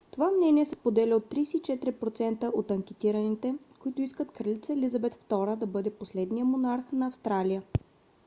това мнение се споделя от 34% от анкетираните които искат кралица елизабет ii да бъде последния монарх на австралия